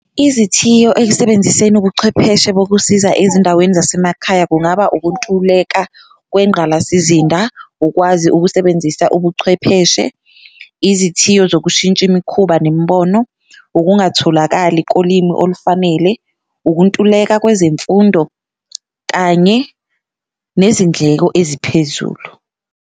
Izithiyo ekusebenziseni ubuchwepheshe bokusiza ezindaweni zasemakhaya kungaba ukuntuleka kwengqalasizinda, ukwazi ukusebenzisa ubuchwepheshe, izithiyo zokushintsha imikhuba nemibono, ungatholakali kolimi olufanele, ukuntuleka kwezemfundo kanye nezindleko eziphezulu.